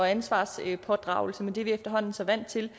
ansvarspådragelse men det er vi efterhånden så vant til